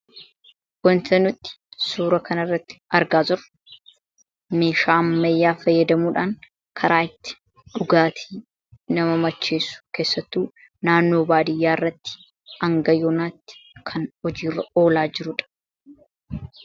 Wanti nuti suuraa kanarratti argaa jirru meeshaa ammayyaa fayyadamuudhaan karaa itti dhugaatii nama macheessu keessattuu naannoo baadiyyaatti haga yoonaatti kan hojiirra oolaa jirudha.